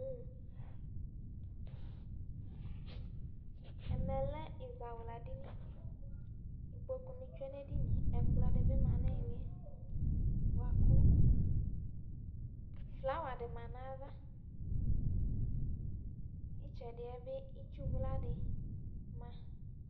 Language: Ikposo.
Ɛmɛ lɛ ɛzawladini; kpoku nɩ tsue nʋ edinie, ɛkplɔ dɩ bɩ ma nʋ ɩhɩlɩɛ bʋa kʋ flawa dɩ ma nayavaƖtsɛdɩ yɛ bɩ itsu wla dɩ ma